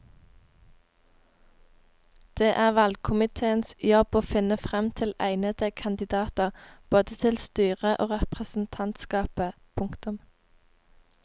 Det er valgkomitéens jobb å finne frem til egnede kandidater både til styret og representantskapet. punktum